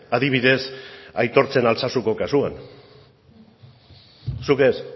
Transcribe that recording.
adibidez aitortzen altsasuko kasuan zuk ez